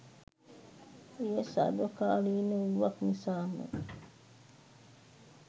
එය සර්වකාලීන වූවක් නිසාම